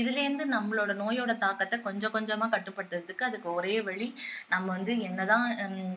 இதுல இருந்து நம்மளோட நோயோட தாக்கத்தை கொஞ்ச கொஞ்சமா கட்டுப்படுத்தறதுக்கு அதுக்கு ஒரே வழி நம்ம வந்து என்னதான்